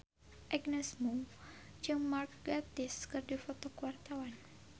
Agnes Mo jeung Mark Gatiss keur dipoto ku wartawan